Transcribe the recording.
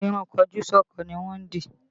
Ìrun kojúsọ́kọ ni wọ́n dì